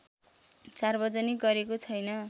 सार्वजनिक गरेको छैन